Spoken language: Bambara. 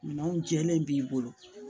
Minɛnw jɛlen b'i bolo